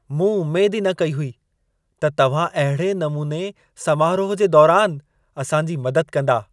मूं उमेद ई न कई हुई त तव्हां अहिड़े नमूने समारोहु जे दौरान असांजी मदद कंदा।